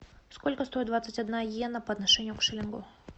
сколько стоит двадцать одна иена по отношению к шиллингу